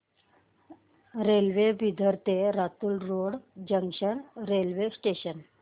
railway Bidar ते Latur road junction railway station